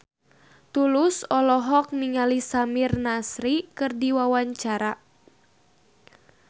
Tulus olohok ningali Samir Nasri keur diwawancara